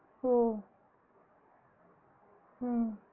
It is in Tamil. ஓ அஹ்